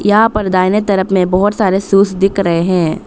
यहां पर दाहिने तरफ में बहुत सारे शूज दिख रहे हैं।